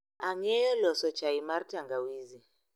Ang'eyo loso chai mar tangawizi